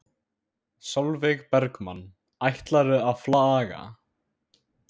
Sólveig Bergmann: Ætlarðu að flagga?